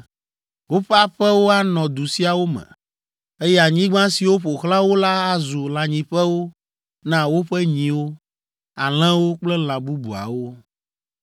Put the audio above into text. Woƒe aƒewo anɔ du siawo me, eye anyigba siwo ƒo xlã wo la azu lãnyiƒewo na woƒe nyiwo, alẽwo kple lã bubuawo.